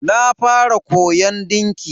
Na fara koyon dinki.